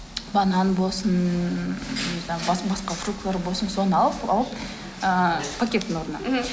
банан болсын ммм не знаю басқа басқа фруктылар болсын соны алып алып ыыы пакеттің орнына мхм